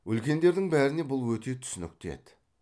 үлкендердің бәріне бұл өте түсінікті еді